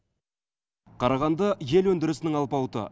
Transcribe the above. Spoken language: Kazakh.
қарағанды ел өндірісінің алпауыты